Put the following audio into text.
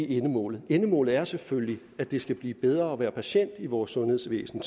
endemålet endemålet er selvfølgelig at det skal blive bedre at være patient i vores sundhedsvæsen